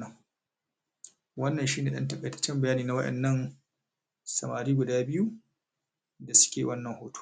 na ta a kwance